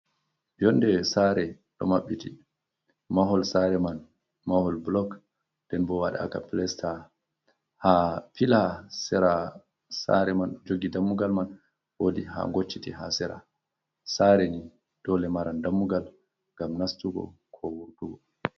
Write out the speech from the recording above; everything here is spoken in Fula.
Yonde saare ɗo mabbiti, mahol saare man mahol blok, nden bo wadagmka plasta ha fila, sera sare man jogi dammugal man wodi ha ngocciti ha sera, sare ni dole maran dammugal ngam nastugo ko wurtugo.